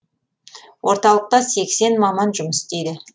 орталықта сексен маман жұмыс істейді